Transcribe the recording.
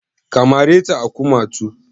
Ka mare ta a kumatu?